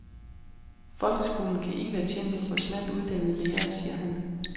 Folkeskolen kan ikke være tjent med for smalt uddannede lærere, siger han.